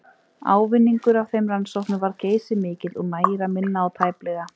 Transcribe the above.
Ávinningur af þeim rannsóknum varð geysimikill, og nægir að minna á að tæplega